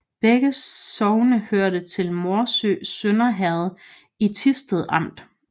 Begge sogne hørte til Morsø Sønder Herred i Thisted Amt